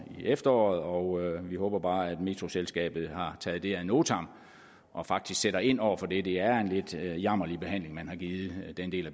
i efteråret og vi håber bare at metroselskabet har taget det ad notam og faktisk sætter ind over for det det er en lidt jammerlig behandling man har givet den del